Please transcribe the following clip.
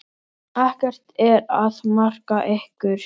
Ekkert er að marka ykkur.